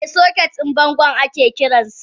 Eh soket din bango ake kiransa.